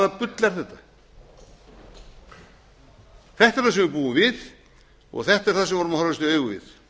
er það sem við búum við og þetta er það sem við verðum að horfast í